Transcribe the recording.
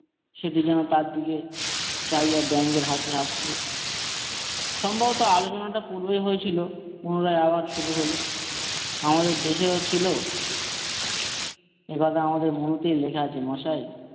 সেটি যেন তার দিকে চাহিয়া ব্যঙ্গ হাসি হাসছে সম্ভবত আলোচনাটা পূর্বেই হয়েছিল মনে হয় আবার শুরু হল ।আমাদের দেশেও ছিল একথা আমাদের মনেতে লেখা আছে মশাই।